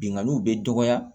Binganniw bɛ dɔgɔya